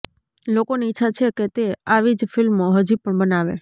લોકોની ઇચ્છા છે કે તે આવી જ ફિલ્મો હજી પણ બનાવે